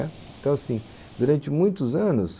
Então assim, durante muitos anos,